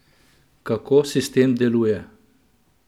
Kako sistem deluje?